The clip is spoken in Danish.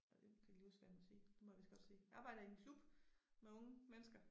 Og det kan ikke lige huske hvad jeg må sige det må jeg vist godt sige. Jeg arbejder i en klub med unge mennesker